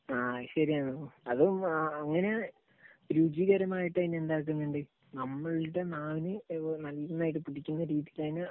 ആ ശരിയാണ്. അതും ആ, അങ്ങനെയാണ് രുചികരമായിട്ട് അതിനെ എന്താക്കുന്നുണ്ട്, നമ്മുടെ നാവിൽ നന്നായിട്ട് പിടിക്കുന്ന രീതിക്ക് അതിനെ